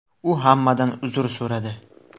U hammadan uzr so‘radi.